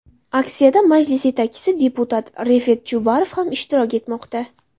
Aksiyada Majlis yetakchisi, deputat Refat Chubarov ham ishtirok etmoqda.